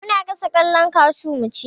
Muna gasa ƙwallon kashu mu ci